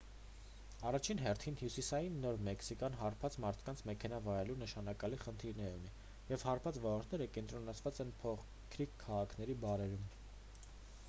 առաջին հերթին հյուսիսային նոր մեքսիկան հարբած մարդկանց մեքենա վարելու նշանակալի խնդիրներ ունի և հարբած վարորդները կենտրոնացած են փոքրիկ քաղաքների բարերում